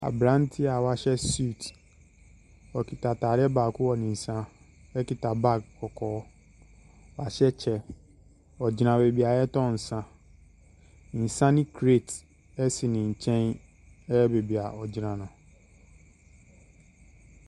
Abranteɛ wahyɛ suit wɔ kɛta atadeɛ baako wɔ ni nsa ɛkɛta bag kɔkɔɔ wahyɛ kyɛw ɔgyna biaavɛ a wɔtɔn nsa nsa ne crate ɛsi no nkyɛn wɔbiaa ɔgyina no.